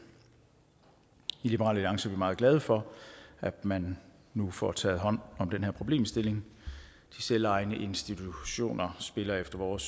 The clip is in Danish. i liberal alliance er vi meget glade for at man nu får taget hånd om den her problemstilling de selvejende institutioner spiller efter vores